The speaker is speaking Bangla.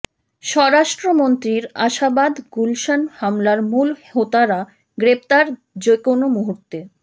স্বরাষ্ট্রমন্ত্রীর আশাবাদ গুলশান হামলার মূল হোতারা গ্রেপ্তার যেকোনো মুহূর্তে